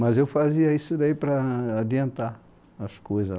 Mas eu fazia isso daí para adiantar as coisas.